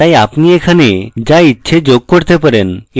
তাই আপনি এখানে so ইচ্ছে যোগ করতে পারেন এটি একটি asterisk হতে পারে